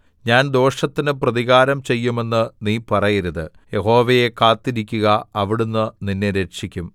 ഞാൻ ദോഷത്തിന് പ്രതികാരം ചെയ്യുമെന്ന് നീ പറയരുത് യഹോവയെ കാത്തിരിക്കുക അവിടുന്ന് നിന്നെ രക്ഷിക്കും